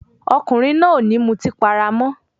Ọkùnrin náà ò ní mutí para mọ́.